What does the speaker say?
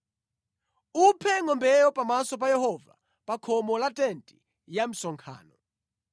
Uphe ngʼombeyo pamaso pa Yehova pa khomo la tenti ya msonkhano.